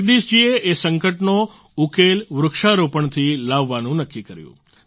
જગદીશ જી એ આ સંકટનો ઉકેલ વૃક્ષારોપણથી લાવવાનું નક્કી કર્યું